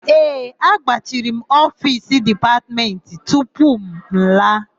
Ee, agbachiri m ofiisi Dipatmentị tupu m laa.